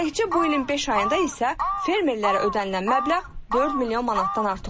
Təkcə bu ilin beş ayında isə fermerlərə ödənilən məbləğ 4 milyon manatdan artıq olub.